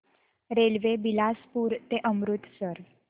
railway Bilaspur ते अमृतसर